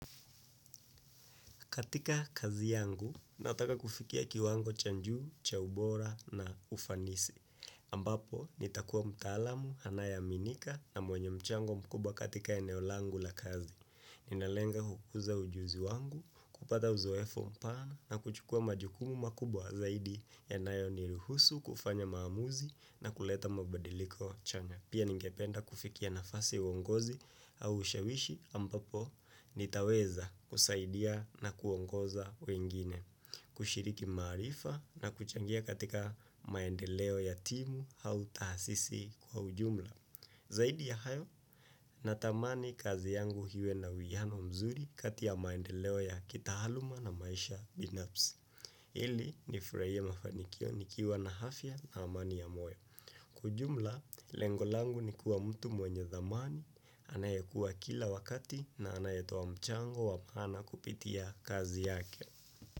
Katika kazi yangu, nataka kufikia kiwango cha juu, cha ubora na ufanisi. Ambapo, nitakuwa mtaalamu, anayeaminika na mwenye mchango mkubwa katika eneo langu la kazi. Ninalenga hukuza ujuzi wangu, kupata uzoefu mpana na kuchukua majukumu makubwa zaidi yanayoniruhusu kufanya maamuzi na kuleta mabadiliko chanya. Pia ningependa kufikia nafasi uongozi au ushawishi ambapo nitaweza kusaidia na kuongoza wengine, kushiriki maarifa na kuchangia katika maendeleo ya timu au tahasisi kwa ujumla. Zaidi ya hayo, natamani kazi yangu iwe na uhiano mzuri kati ya maendeleo ya kitaaaluma na maisha binafsi. Ili nifurahie mafanikio nikiwa na afya na amani ya moyo. Kwa jumla, lengo langu nikuwa mtu mwenye dhamani, anayekuwa kila wakati na anayetoa mchango wa maana kupitia kazi yake.